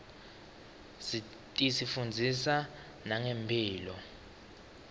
tisifundzisa nangemphilo